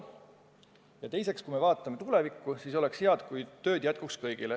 Ja teiseks, kui me vaatame tulevikku, siis oleks hea, kui tööd jätkuks kõigile.